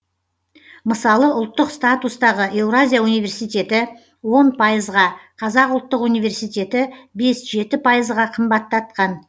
мысалы ұлттық статустағы еуразия университеті он пайызға қазақ ұлттық университеті бес жеті пайызға қымбаттатқан